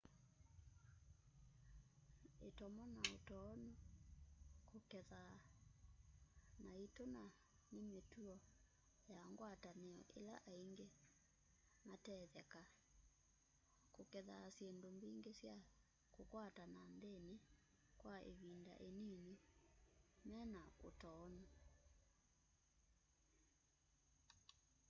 itomo na utoonu kukethaa na itu na ni mituo ya ngwatanio ila aingi matetheka kukethaa syindu mbingi sya kukwata na nthini wa ivinda inini mena utoonu